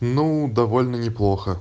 ну довольно не плохо